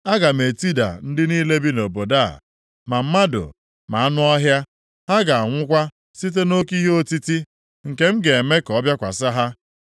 Aga m etida ndị niile bi nʼobodo a, ma mmadụ ma anụ ọhịa. Ha ga-anwụkwa site nʼoke ihe otiti, nke m ga-eme ka ọ bịakwasị ha.